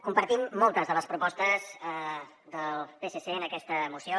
compartim moltes de les propostes del psc en aquesta moció